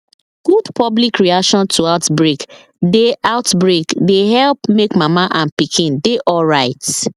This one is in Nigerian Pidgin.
good public reaction to outbreak dey outbreak dey help make mama and pikin dey alright